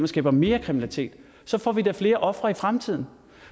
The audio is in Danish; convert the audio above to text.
skaber mere kriminalitet så får vi da flere ofre i fremtiden